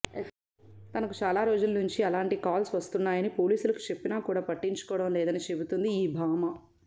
తనకు చాలా రోజుల నుంచి అలాంటి కాల్స్ వస్తున్నాయని పోలీసులకు చెప్పినా కూడా పట్టించుకోవడం లేదని చెబుతుంది ఈ భామ